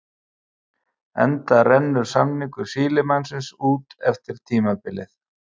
Enda rennur samningur Sílemannsins út eftir tímabilið.